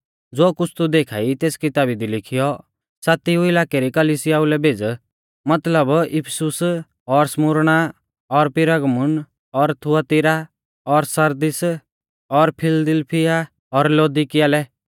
ज़ो कुछ़ तू देखा ई तेस किताबी दी लिखीयौ सातिआ इलाकै री कलिसियाऊ लै भेज़ मतलब इफिसुस और स्मुरणा और पिरगमुन और थुआतीरा और सरदीस और फिलदिलफिया और लौदीकिया लै